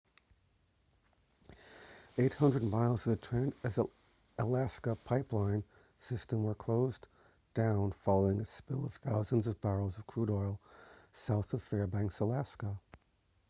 800 miles of the trans-alaska pipeline system were closed down following a spill of thousands of barrels of crude oil south of fairbanks alaska